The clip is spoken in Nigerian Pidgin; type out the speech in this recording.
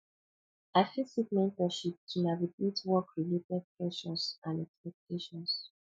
i fit seek mentorship to navigate workrelated pressures and expectations